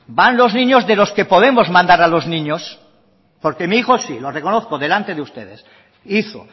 van los niños de los que podemos mandar a los niños porque mi hijo sí lo reconozco delante de ustedes hizo